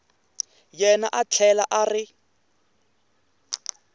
yena a tlhela a ri